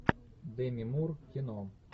деми мур кино